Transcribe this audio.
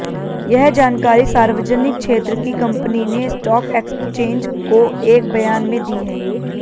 यह जानकारी सार्वजनिक क्षेत्र की कंपनी ने स्टॉक एक्सचेंज को एक बयान में दी है